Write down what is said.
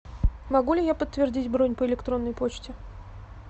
могу ли я подтвердить бронь по электронной почте